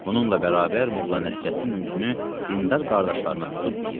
Bununla bərabər Molla Nəsrəddin özünü dindar qardaşlarına tutub deyir: